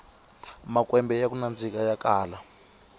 makwembe yaku nandzika ya kala